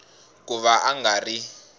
ku va a nga ri